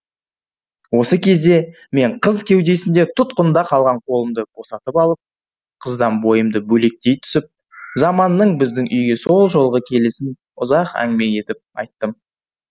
осы кезде мен қыз кеудесінде тұтқында қалған қолымды босатып алып қыздан бойымды бөлектей түсіп заманның біздің үйге сол жолғы келісін ұзақ әңгіме етіп айттым